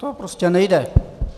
To prostě nejde.